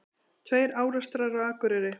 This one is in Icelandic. Tveir árekstrar á Akureyri